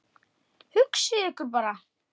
Hugsið ykkur bara!